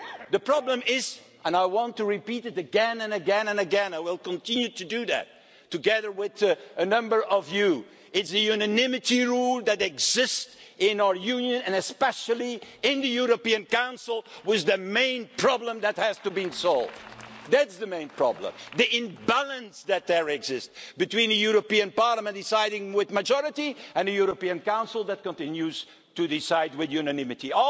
The problem and I want to repeat this again and again and again, and will continue to do so, together with a number of you is the unanimity rule that exists in our Union and especially in the European Council that is the main problem which has to be solved. That's the main problem. The imbalance that exists between the European Parliament deciding by a majority and the European Council that continues to act unanimously.